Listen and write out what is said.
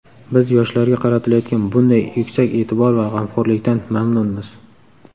Biz yoshlarga qaratilayotgan bunday yuksak e’tibor va g‘amxo‘rlikdan mamnunmiz.